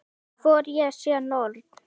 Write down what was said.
Hvort ég sé norn.